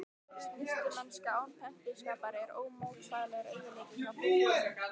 Snyrtimennska án pempíuskapar er ómótstæðilegur eiginleiki hjá piltum.